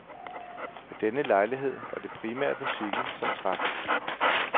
Ved denne lejlighed var det primært musikken, som trak.